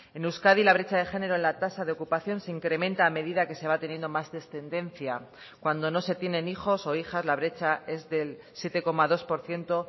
en euskadi la brecha de género en la tasa de ocupación se incrementa a medida que se va teniendo más descendencia cuando no se tienen hijos o hijas la brecha es del siete coma dos por ciento